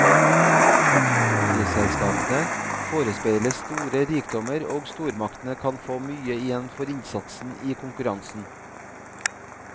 Oljeselskapene forespeiles store rikdommer og stormaktene kan få mye igjen for innsatsen i konkurransen.